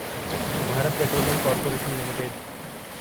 Bharat petroleum corporation limited